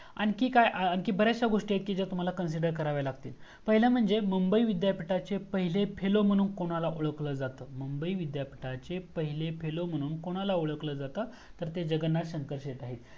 आणखी काय आणखी बर्‍याच्ष्य गोस्टी तुम्हाला consider कराव्या लागतील पहिलं म्हणजे मुंबई विद्यापीठाचे पहिले fellow मनहून कोणाला ओळखल जात? मुंबई विद्यापीठाचे पहिले fellow मनहून कोणाला ओळखल जात? तर ते जगन्नाथ सेटे आहेत